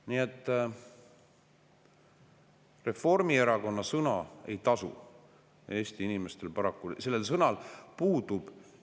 Nii et Reformierakonna sõna ei tasu Eesti inimestel paraku.